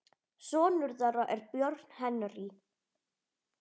Sonur þeirra er Björn Henry.